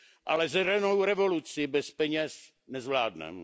Ale zelenou revoluci bez peněz nezvládneme.